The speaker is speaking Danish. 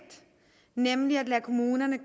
nemlig at lade kommunerne